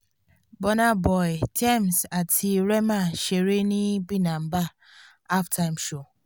bùnà boy tems àti rema ṣeré níbinba halftime show